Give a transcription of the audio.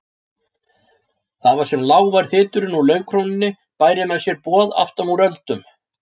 Það var sem lágvær þyturinn úr laufkrónunni bæri mér boð aftanúr öldum.